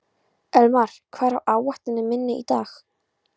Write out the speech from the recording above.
Elmar, hvað er á áætluninni minni í dag?